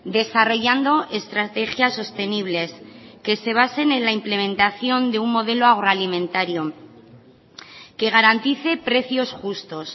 desarrollando estrategias sostenibles que se basen en la implementación de un modelo agroalimentario que garantice precios justos